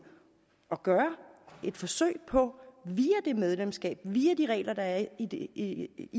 at gøre et forsøg på via det medlemskab via de regler der er i det